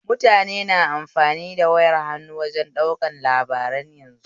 Mutane na amfani da wayar hannu wajen ɗaukan labarai yanzu